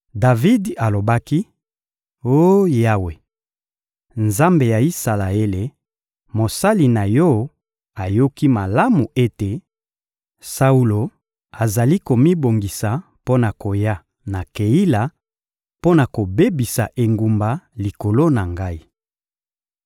Davidi alobaki: — Oh Yawe, Nzambe ya Isalaele, mosali na Yo ayoki malamu ete Saulo azali komibongisa mpo na koya na Keila, mpo na kobebisa engumba likolo na ngai.